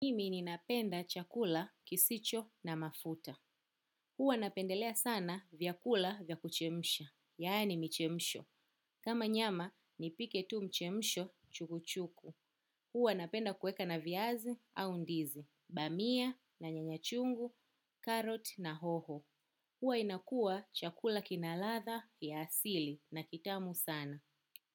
Mimi ninapenda chakula kisicho na mafuta. Huwa napendelea sana vyakula vya kuchemsha, yaani michemsho. Kama nyama, nipike tu michemsho chukuchuku. Huwa napenda kuweka na vyaze au ndizi, dania na nyanyabchungu, karoti na hoho. Huwa inakuwa chakula kina ladha ya asili na kitamu sana.